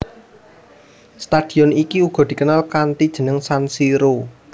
Stadion iki uga dikenal kanthi jeneng San Siro